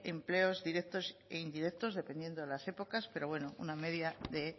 empleos directos e indirectos dependiendo de las épocas pero bueno una media de